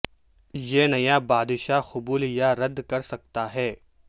یہ نیا بادشاہ قبول یا رد کر سکتا ہے